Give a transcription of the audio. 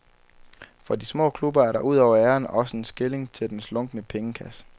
For de små klubber er der ud over æren også en skilling til den slunkne pengekasse.